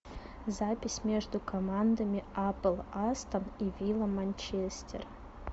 запись между командами апл астон и вилла манчестер